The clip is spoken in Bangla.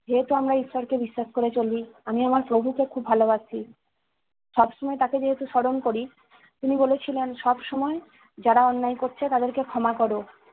যেহেতু আমরা ঈশ্বরকে বিশ্বাস করে চলি, আমি আমার প্রভুকে খুব ভালোবাসি। সব সময় তাকে যেহেতু স্মরণ করি, তিনি বলেছিলেন- সবসময় যারা অন্যায় করছে তাদেরকে ক্ষমা কর।